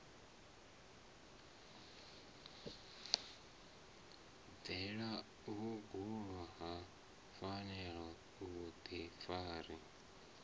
bvalelwe vhuongeloni a lafhiwe vhuḓifari